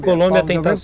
A Colômbia